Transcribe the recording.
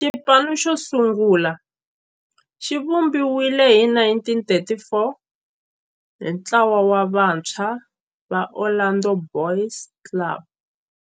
Xipano xosungula xivumbiwile hi 1934 hi ntlawa wa vantshwa va Orlando Boys Club.